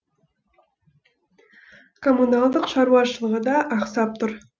коммуналдық шаруашылығы да ақсап тұр